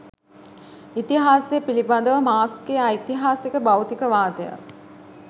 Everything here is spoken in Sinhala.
ඉතිහාසය පිලිබඳව මාක්ස්ගේ ඓතිහාසික භෞතිකවාදය